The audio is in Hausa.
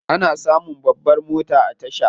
Ana samun babbar mota a tasha.